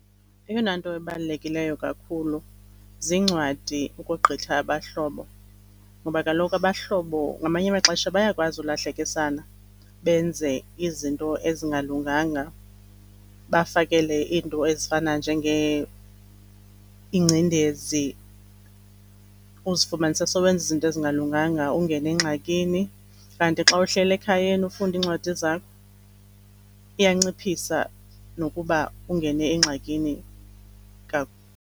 Eyona nto ebalulekileyo kakhulu ziincwadi ukogqitha abahlobo ngoba kaloku abahlobo ngamanye amaxesha bayakwazi ukulahlekisana benze izinto ezingalunganga, bafakele iinto ezifana ingcendezi, uzifumanise sowenza izinto ezingalunganga ungene engxakini. Kanti xa uhleli ekhayeni ufunda iincwadi zakhe iyanciphisa nokuba ungene engxakini .